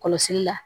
Kɔlɔsili la